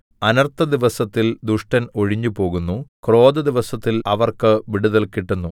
അനർത്ഥദിവസത്തിൽ ദുഷ്ടൻ ഒഴിഞ്ഞുപോകുന്നു ക്രോധദിവസത്തിൽ അവർക്ക് വിടുതൽ കിട്ടുന്നു